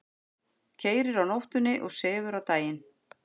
Keyrir á nóttunni og sefur á daginn.